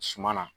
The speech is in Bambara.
Suma na